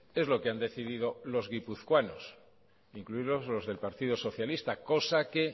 es lo que han decidido los guipuzcoanos incluidos los del partido socialista cosa que